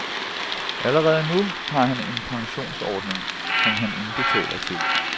Allerede nu har han en pensionsordning, som han indbetaler til.